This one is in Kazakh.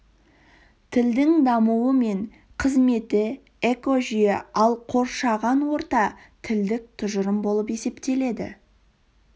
тілдің дамуы мен қызметі экожүйе ал қоршаған орта тілдік тұжырым болып есептеледі